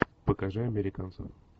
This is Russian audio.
покажи американцы